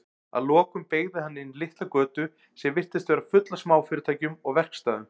Að lokum beygði hann inn litla götu sem virtist vera full af smáfyrirtækjum og verkstæðum.